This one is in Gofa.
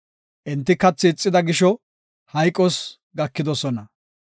Enti kathi ixida gisho hayqos gakidosona.